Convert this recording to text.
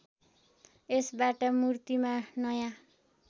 यसबाट मूर्तिमा नयाँ